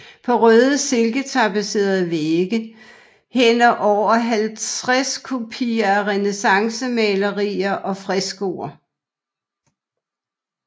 På røde silketapetserede vægge hænder over halvtreds kopier af renæssancemalerier og freskoer